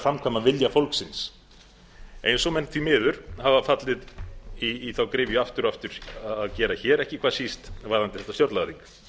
framkvæma vilja þess eins og menn því miður hafa fallið í þá gryfju aftur og aftur að gera hér ekki hvað síst varðandi þetta stjórnlagaþing